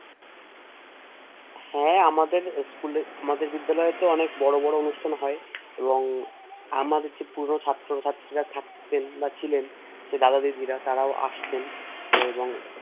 হ্যাঁ আমাদের দেখ হ্যাঁ আমাদের School আমাদের বিদ্যালয়ে তো অনেক বড় বড় অনুষ্ঠান হয় এবং আমার যে পুরো ছাত্রছাত্রীরা থাকতে পারছিল যে দাদা দিদিরা তারাও আসত